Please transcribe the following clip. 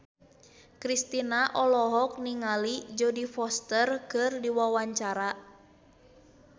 Kristina olohok ningali Jodie Foster keur diwawancara